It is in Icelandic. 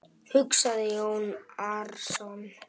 hugsaði Jón Arason.